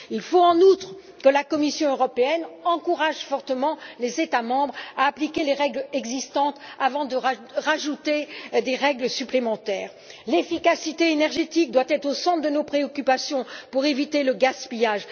Il faut, en outre, que la Commission européenne encourage fortement les États membres à appliquer les règles existantes avant d'ajouter des règles supplémentaires. L'efficacité énergétique doit être au centre de nos préoccupations pour éviter le gaspillage.